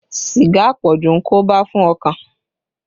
Sìgá àpọ̀jù ń koba fún ọkàn